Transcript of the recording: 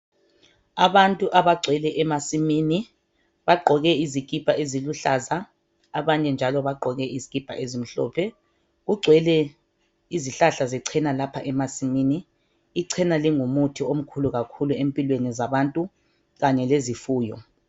Abantu abagcwele emasimini bagqoke izikipa eziluhlaza abanye njalo bagqoke izikipa ezimhlophe. Kugcwele izihlahla zecena lapha emasimini. Icela lingumuthi omkhulu kakhulu empilweni zabantu kanye lezifuyo.